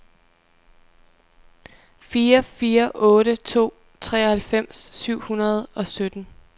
fire fire otte to treoghalvfems syv hundrede og sytten